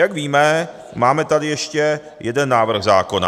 Jak víme, máme tady ještě jeden návrh zákona.